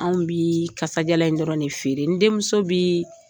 Anw bɛ kasa gɛlɛn dɔrɔn de feere n denmuso bii